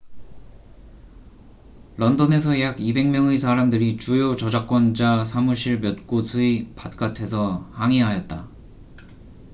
런던에서 약 200명의 사람들이 주요 저작권자 사무실 몇 곳의 바깥에서 항의하였다